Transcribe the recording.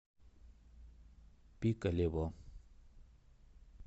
пикалево